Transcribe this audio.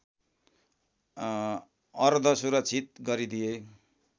अर्ध सुरक्षित गरिदिए